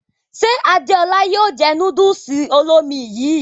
Ṣe Adéọlá yóò jẹ núdùùsì olómi yìí?